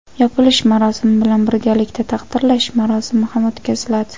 Yopilish marosimi bilan birgalikda "Taqdirlash marosimi" ham o‘tkaziladi.